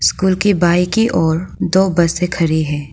घर के बाएं की ओर दो बसें खड़ी है।